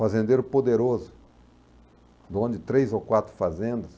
Fazendeiro poderoso, dono de três ou quatro fazendas.